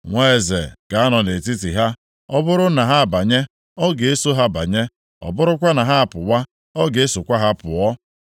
Nwa eze ga-anọ nʼetiti ha, ọ bụrụ na ha abanye, ọ ga-eso ha banye, ọ bụrụkwa na ha apụwa, ọ ga-esokwa ha pụọ.